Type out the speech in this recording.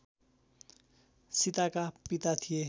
सीताका पिता थिए